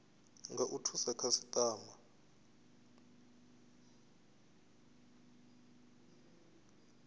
nga u thusa khasitama